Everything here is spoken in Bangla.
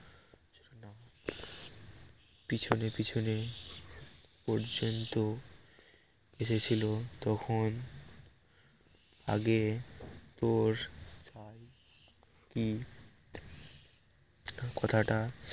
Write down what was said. পিছনে পিছনে পর্যন্ত এসেছিল তখন আগে তোর কি কথাটা